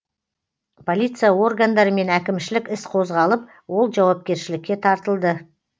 полиция органдарымен әкімшілік іс қозғалып ол жауапкершілікке тартылды